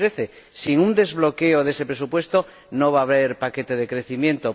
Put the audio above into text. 2013. Sin un desbloqueo de ese presupuesto no va a haber paquete de crecimiento.